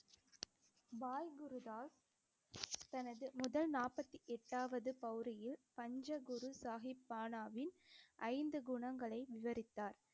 பாய் குருதாஸ் தனது முதல் நாற்பத்தி எட்டாவது பஞ்ச குரு சாஹிப் பானாவின் ஐந்து குணங்களை விவரித்தார்.